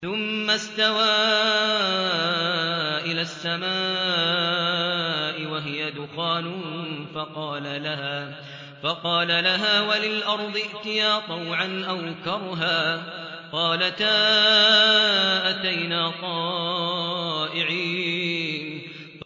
ثُمَّ اسْتَوَىٰ إِلَى السَّمَاءِ وَهِيَ دُخَانٌ فَقَالَ لَهَا وَلِلْأَرْضِ ائْتِيَا طَوْعًا أَوْ كَرْهًا قَالَتَا أَتَيْنَا طَائِعِينَ